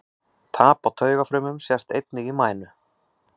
Tap á taugafrumum sést einnig í mænu.